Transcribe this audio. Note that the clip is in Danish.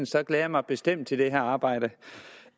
så glæder jeg mig bestemt til det her arbejde